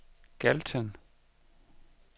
Galten